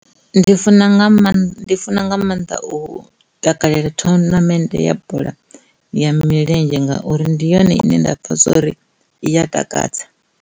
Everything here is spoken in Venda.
Ndi funa nga maanḓa, ndi funa nga maanḓa u takalela thonamennde ya bola ya milenzhe ngauri ndi yone ine nda pfha zwa uri iya takadza.